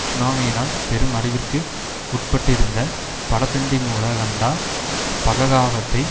சுனாமியினால் பெரும் அழிவிற்கு உட்பட்டிருந்த படபென்டிமுல கண்டா பககாவத்தை